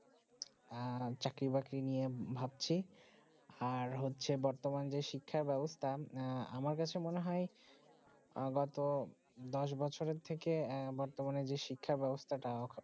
আহ চাকরি বাকরি নিয়ে ভাবছি আর হচ্ছে বর্তমান যে শিক্ষা ব্যবস্থা আহ আমার কাছে মনে হয়ে গত দশ বছর থেকে বর্তমানে যে শিক্ষা ব্যবস্থাটা